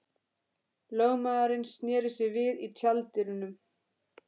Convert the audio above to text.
Lögmaðurinn sneri sér við í tjalddyrunum.